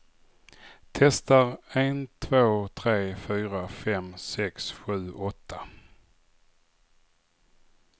Testar en två tre fyra fem sex sju åtta.